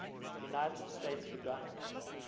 united states began